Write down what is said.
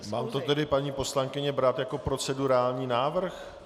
Mám to tedy, paní poslankyně, brát jako procedurální návrh?